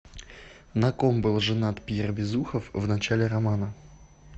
на ком был женат пьер безухов в начале романа